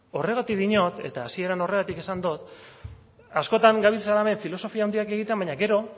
horregatik diot eta hasieran horregatik esan dot askotan gabiltzala hemen filosofia handiak egiten baina gero